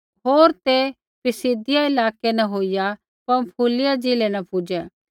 होर ते पिसिदिया इलाकै न होईया पँफूलिया ज़िलै न पुजै